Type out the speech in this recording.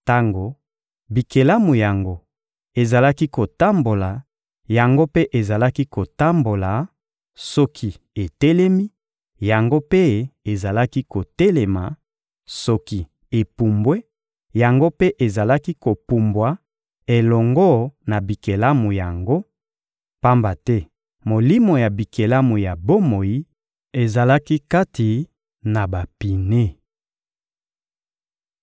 Tango bikelamu yango ezalaki kotambola, yango mpe ezalaki kotambola; soki etelemi, yango mpe ezalaki kotelema; soki epumbwe, yango mpe ezalaki kopumbwa elongo na bikelamu yango, pamba te molimo ya bikelamu ya bomoi ezalaki kati na bapine.